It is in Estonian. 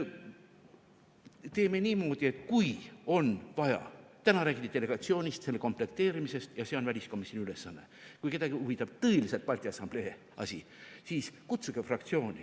Teeme niimoodi, et kui on vaja – täna räägiti delegatsioonist, selle komplekteerimisest ja see on väliskomisjoni ülesanne – ja kui kedagi huvitab tõeliselt Balti Assamblee asi, siis kutsuge fraktsiooni.